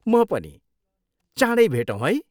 म पनि, चाँडै भेटौँ है।